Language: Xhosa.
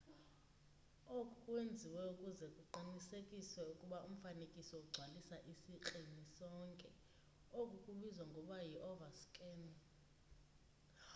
oku kwenziwe ukuze kuqinisekiswe ukuba umfanekiso ugcwalisa isikrini sonke oku kubizwa ngokuba yi-overscan